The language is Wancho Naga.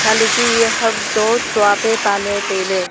chatley chu e ham to chua pe paley tailey